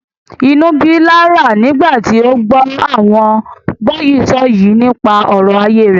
Inú ń bí Laura nígbà tí ó gbọ́ àwọn gbọ́yìísọ̀yìí nípa ọ̀rọ̀ ayé rẹ̀.